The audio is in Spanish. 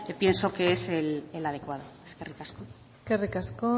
pienso que es el adecuado eskerrik asko eskerrik asko